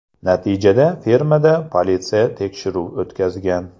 Natijada fermada politsiya tekshiruv o‘tkazgan.